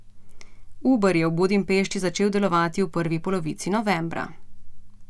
Uber je v Budimpešti začel delovati v prvi polovici novembra.